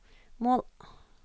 mål